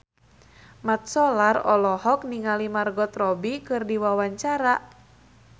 Mat Solar olohok ningali Margot Robbie keur diwawancara